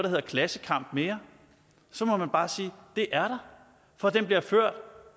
hedder klassekamp mere så må man bare sige at det er der for den bliver ført